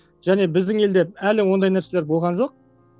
және біздің елде әлі ондай нәрселер болған жоқ